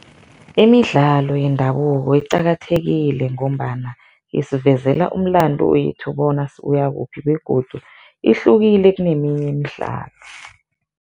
Imidlalo yendabuko iqakathekile ngombana isivezela umlandu wethu bona sibuya kuphi begodu ihlukile kuneminye imidlalo.